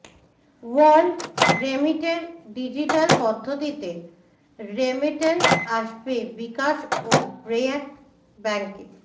world রেমিটের digital পদ্ধতিতে remittance আসবে বিকাশ ও ব্র্যাক ব্যাংকে